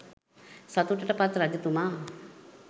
සතුටට පත් රජතුමා,